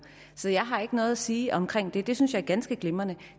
så jeg har ikke noget at sige om det det synes jeg er ganske glimrende